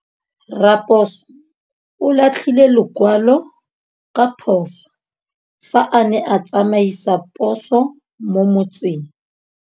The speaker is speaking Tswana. Raposo o latlhie lekwalô ka phosô fa a ne a tsamaisa poso mo motseng.